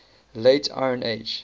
late iron age